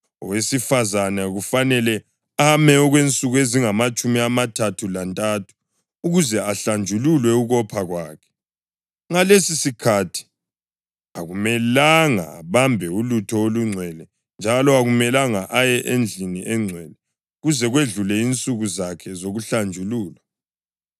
Owesifazane kufanele ame okwensuku ezingamatshumi amathathu lantathu ukuze ahlanjululwe ukopha kwakhe. Ngalesisikhathi, akumelanga abambe ulutho olungcwele njalo akumelanga aye endlini engcwele kuze kwedlule insuku zakhe zokuhlanjululwa.